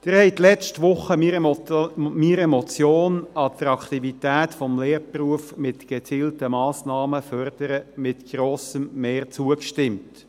Sie haben letzte Woche meiner Motion «Attraktivität des Lehrberufs mit gezielten Massnahmen fördern» mit grossem Mehr zugestimmt.